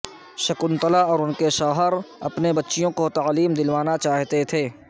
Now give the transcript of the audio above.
شکنتلا اور ان کے شوہر اپنی بیچوں کو تعلیم دلوانا چاہتے تھے